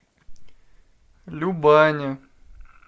любани